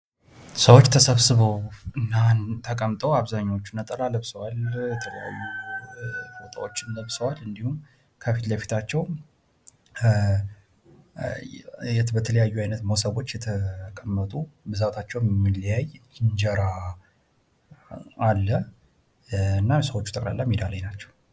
ሰዎች ተሰብስበው እና ተቀምጠው አብዛኞቹ ነጠላ ለብሰዋል የተለያዩ ፎጣዎችን ለብሰዋል እንዲሁም ከፊት ለፊታቸው በተለያዩ አይነት ሞሰቦች የተቀመጡ ብዛታቸው የሚለያይ እንጀራ አለ። እና ሰዎቹ ጠቅላላ ማዳ ላይ ናቸው።